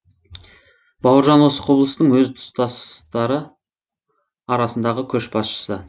бауыржан осы құбылыстың өз тұстастары арасындағы көш басшысы